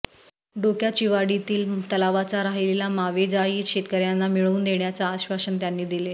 डोक्याचीवाडीतील तलावाचा राहिलेला मावेजाही शेतकऱ्यांना मिळवून देण्याचे आश्वासन त्यांनी दिले